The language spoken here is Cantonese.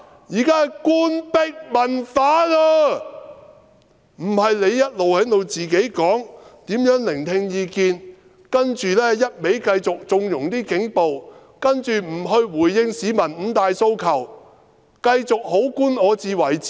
然而，你卻一直在自詡如何聆聽意見，不斷縱容警暴，又不回應市民的五大訴求，繼續"好官我自為之"。